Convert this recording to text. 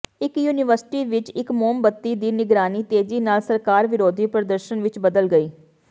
ਇਕ ਯੂਨੀਵਰਸਿਟੀ ਵਿਚ ਇਕ ਮੋਮਬੱਤੀ ਦੀ ਨਿਗਰਾਨੀ ਤੇਜ਼ੀ ਨਾਲ ਸਰਕਾਰ ਵਿਰੋਧੀ ਪ੍ਰਦਰਸ਼ਨ ਵਿਚ ਬਦਲ ਗਈ